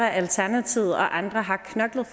alternativet og andre har knoklet